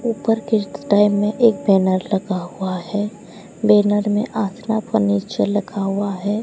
ऊपर के टाइम में एक बैनर लगा हुआ है बैनर में आशना फर्नीचर लगा हुआ है।